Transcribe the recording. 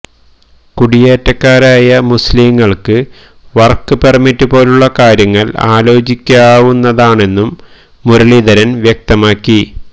കുടിയേറ്റക്കാരായ മുസ്ലിങ്ങൾക്ക് work permit പോലുള്ള കാര്യങ്ങൾ ആലോചിക്കാവുന്നതാണെന്നും മുരളീധരൻ വ്യക്തമാക്കി